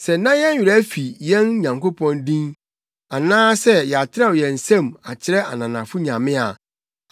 Sɛ na yɛn werɛ afi yɛn Nyankopɔn din anaa sɛ yɛatrɛw yɛn nsam akyerɛ ananafo nyame a,